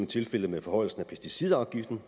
tilfældet med forhøjelsen af pesticidafgiften